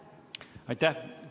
Aitäh!